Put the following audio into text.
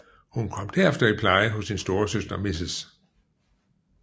Hun kom derefter i pleje hos sin storesøster Mrs